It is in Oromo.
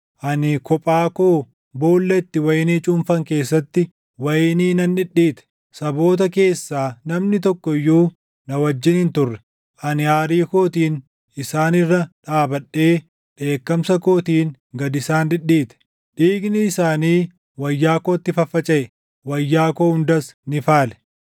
“Ani kophaa koo boolla itti wayinii cuunfan keessatti // wayinii nan dhidhiite; saboota keessaa namni tokko iyyuu na wajjin hin turre. Ani aarii kootiin isaan irra dhaabadhee dheekkamsa kootiin gad isaan dhidhiite; dhiigni isaanii wayyaa kootti faffacaʼe; wayyaa koo hundas ni faale.